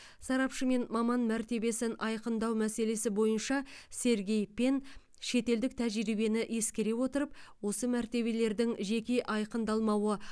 сарапшы мен маман мәртебесін айқындау мәселесі бойынша сергей пен шетелдік тәжірибені ескере отырып осы мәртебелердің жеке айқындалмауы